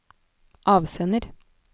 avsender